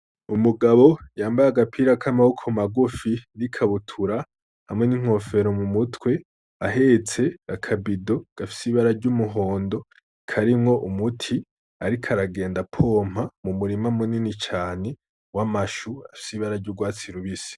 Umugabo yambaye agapira k'amaboko magufi, n'ikabutura hamwe n'inkofero mu mutwe, ahetse akabido gafis'ibara ry'umuhondo karimw'umuti ariko aragenda apompa mu murima munini cane w'amashu afise ibara ry'urwatsi rubisi.